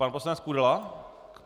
Pan poslanec Kudela?